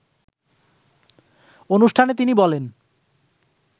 অনুষ্ঠানে তিনি বলেন